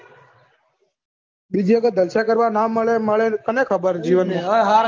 બીજી વખત જલસા ના મળે મળે કોને ખબર જીવન માં